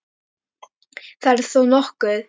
Það er þó nokkuð.